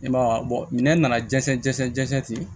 I m'a ye minɛ nana dɛsɛ jati